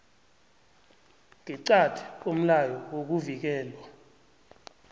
ngeqadi komlayo wokuvikelwa